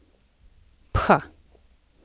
Pha.